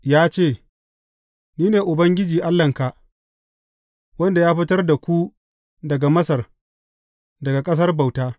Ya ce, Ni ne Ubangiji Allahnka, wanda ya fitar da ku daga Masar, daga ƙasar bauta.